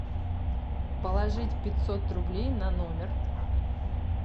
положить пятьсот рублей на номер